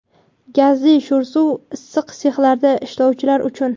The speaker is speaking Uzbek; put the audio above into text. gazli sho‘r suv (issiq sexlarda ishlovchilar uchun);.